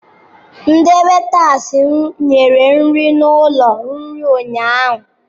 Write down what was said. Ndi wetas nyere nri n'ụlọ nri ụnyaahụ.